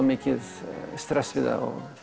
mikið stress við það